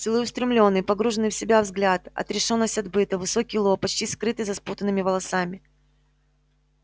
целеустремлённый погруженный в себя взгляд отрешённость от быта высокий лоб почти скрытый за спутанными волосами